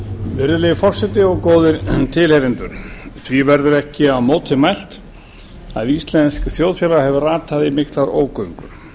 virðulegi forseti og góðir tilheyrendur því verður ekki á móti mælt að íslenskt þjóðfélag hefur ratað í miklar ógöngur